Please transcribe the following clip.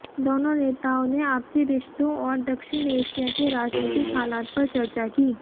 दोनों नेताओं ने आपसी रिश्तों और दक्षिण एशिया के राजनीतिक हालात पर चर्चा की